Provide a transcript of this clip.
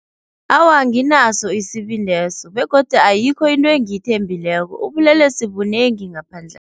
Awa anginaso isibindeso begodu ayikho into engiyithembileko ubulelesi bunengi ngaphandla.